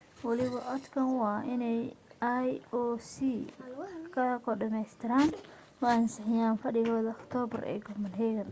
waliba codka waa inay ioc ga oo dhammaystiran ku ansixiyaan fadhigooda aktoobar ee copenhagen